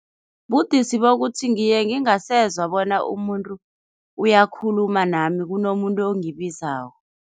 Budisi bokuthi ngiyengingasezwa bona umuntu uyakhuluma nami, kunomuntu ongibizako.